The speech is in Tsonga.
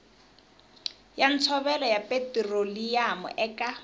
ya ntshovelo ya petiroliyamu eka